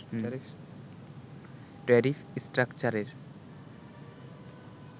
tariff স্ট্রাকচারের